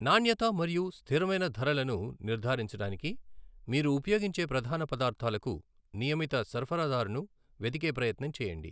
నాణ్యత మరియు స్థిరమైన ధరలను నిర్ధారించడానికి మీరు ఉపయోగించే ప్రధాన పదార్థాలకు నియమిత సరఫరాదారును వెదికే ప్రయత్నం చేయండి.